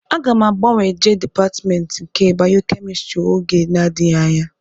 Aga m agbanwe jee dịpatmentị nke bayokemịstrị oge na-adịghị anya